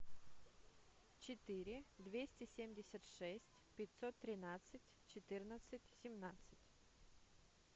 четыре двести семьдесят шесть пятьсот тринадцать четырнадцать семнадцать